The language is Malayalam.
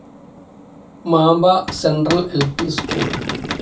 Mamba central L. P. School.